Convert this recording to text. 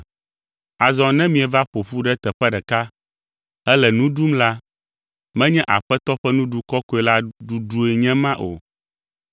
Azɔ ne mieva ƒo ƒu ɖe teƒe ɖeka hele nu ɖum la, menye Aƒetɔ ƒe Nuɖuɖu Kɔkɔe la ɖuɖue nye ema o.